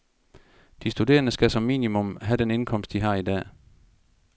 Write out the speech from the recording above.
De studerende skal som minimum have den indkomst, de har i dag.